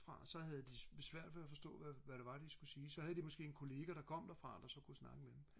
fra så havde de svært ved at forstå hvad hvad det var de skulle sige så havde de måske en kollega der kom derfra der så kunne snakke med dem